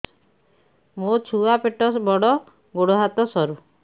ମୋ ଛୁଆ ପେଟ ବଡ଼ ଗୋଡ଼ ହାତ ସରୁ